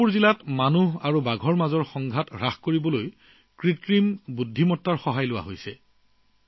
চন্দ্ৰপুৰ জিলাত মানুহবাঘৰ সংঘাত হ্ৰাস কৰিবলৈ কৃত্ৰিম বুদ্ধিমত্তা গ্ৰহণ কৰা হৈছে